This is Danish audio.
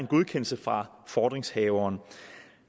godkendelse fra fordringshaveren